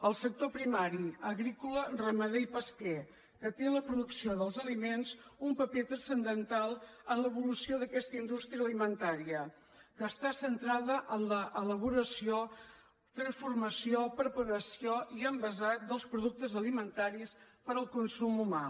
el sector primari agrícola ramader i pesquer que té la producció dels aliments un paper transcendental en l’evolució d’aquesta indústria alimentària que està centrada en l’elaboració transformació preparació i envasat dels productes alimentaris per al consum humà